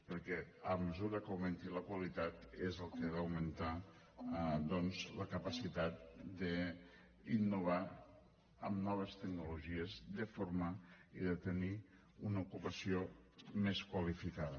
perquè a mesura que augmenti la qualitat és el que ha d’augmentar doncs la capacitat d’innovar amb noves tecnologies de forma i de tenir una ocupació més qualificada